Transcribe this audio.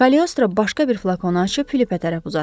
Kaleostro başqa bir flakonu açıb Filipə tərəf uzatdı.